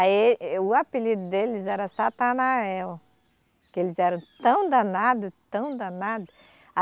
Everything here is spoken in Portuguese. Aí o apelido deles era Satanael, porque eles eram tão danado, tão danado. A